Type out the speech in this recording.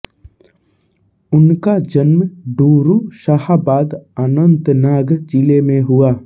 उनका जन्म डोरू शाहबाद अनन्तनाग जिले में हुआ